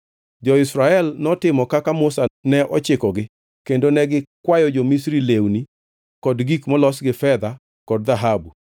Jo-Israel notimo kaka Musa ne ochikogi kendo ne gikwayo jo-Misri lewni kod gik molos gi fedha kod dhahabu.